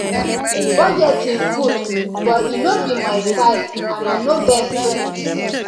budgeting good but e no be my style and i no get strength